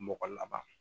Mɔgɔ laban